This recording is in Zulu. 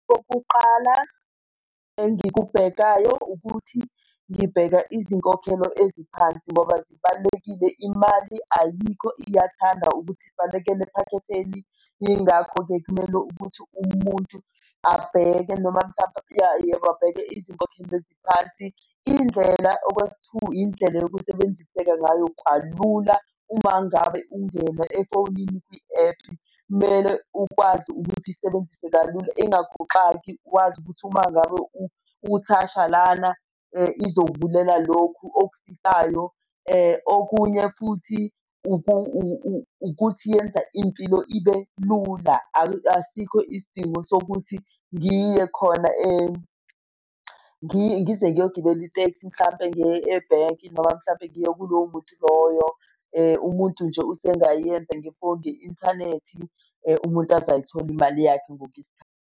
Okoqala engikubhekayo ukuthi ngibheka izinkokhelo eziphansi ngoba zibalulekile. Imali ayikho iyathanda ukuthi ibalekele ephaketheni. Yingakho-ke kumele ukuthi umuntu abheke noma mhlampe abheke izinkokhelo eziphansi. Indlela okwesi-two, indlela yokusebenziseka ngayo kalula uma ngabe ungena efonini kwi-app kumele ukwazi ukuthi isebenzise kalula. Ingakuxoki wazi ukuthi uma ngabe uthasha lana izokuvulela lokhu okufisayo. Okunye futhi ukuthi yenza impilo ibe lula, asikho isidingo sokuthi ngiye khona ngize ngiyogibela itekisi mhlampe ebhenki noma mhlampe ngiye kuloyo muntu loyo. Umuntu nje usengayenza nge-phone, nge-inthanethi umuntu aze ayithole imali yakhe .